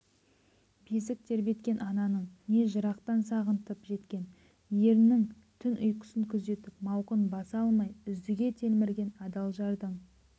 бесік тербеткен ананың не жырақтан сағынтып жеткен ернің түн ұйқысын күзетіп мауқын баса алмай үздіге телмірген адал жардың